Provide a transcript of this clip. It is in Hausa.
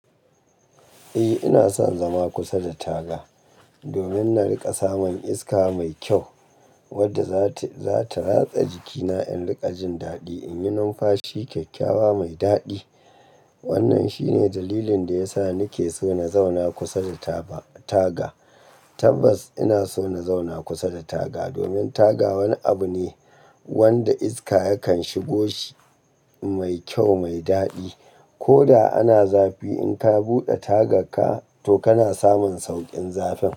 Eh, ina son zama kusa da taga domin na riƙa samun iska mai kyau wadda za ta ratsa jikina in riƙa jin daɗi in yi numfashi kyakkyawa mai daɗi. Wannan shine dalilin da ya sa nike so na zauna kusa da taga. Tabbas ina so na zauna kusa da taga domin taga wani abu ne wanda iska yakan shigo shi mai kyau mai daɗi. Koda ana zafi in ka buɗe tagarka to kana samun sauƙin zafi.